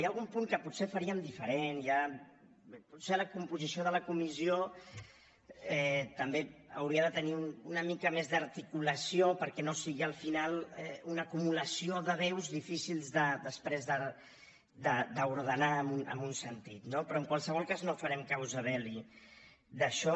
hi ha algun punt que potser faríem diferent potser la composició de la comissió també hauria de tenir una mica més d’articulació perquè no sigui al final una acumulació de veus difícils després d’ordenar en un sentit no però en qualsevol cas no farem causa belli d’això